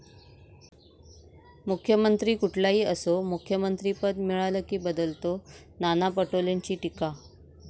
मुख्यमंत्री कुठलाही असो, मुख्यमंत्रिपद मिळालं की बदलतो, नाना पटोलेंची टीका